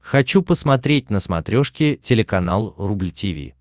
хочу посмотреть на смотрешке телеканал рубль ти ви